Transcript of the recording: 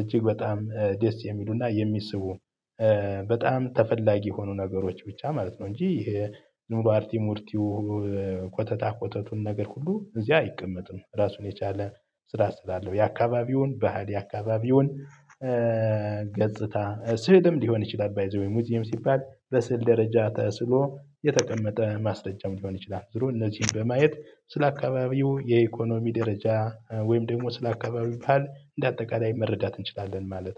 እጅግ በጣም ደስ የሚሉና የሚስቡ በጣም ተፈላጊ የሆኑ ነገሮች ብቻ ማለት ነው። እንጂ ዝም ብሎ አርቲ ሙርቲው ኮተታ ኮተቱን ነገር ሁሉ እዚያ አይቀመጥም ራሱን የቻለ ስራ ስላለው። የአካባቢውን ባህል የአካባቢውን ገጽታ፣ ስዕልም ሊሆን ይችላል ባይ ዘ ዌይ ሙዚየም ሲባል በስዕል ደረጃ ተስሎ የተቀመጠ ማስረጃም ሊሆን ይችላል። ዙሮ እነዚህን በማየት ስለ አካባቢው የኢኮኖሚ ደረጃ ወይም ደግሞ ስለ አካባቢው ባህል እንደ አጠቃላይ መረዳት እንችላለን ማለት ነው።